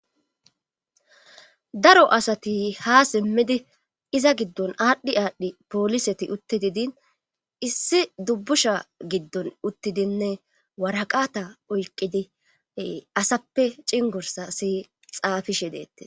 daro asati ha simmidi iza giddon aadhdhi aadhdhi pooliseti uttididin issi dubbusha giddon uttidinne waraqata oyqidi asappe cingursa siy xaafishe deettes